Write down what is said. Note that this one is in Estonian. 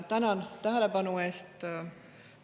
Tänan tähelepanu eest!